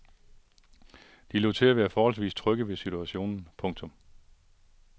De lod til at være forholdsvis trygge ved situationen. punktum